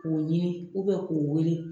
K'u ɲini k'u wele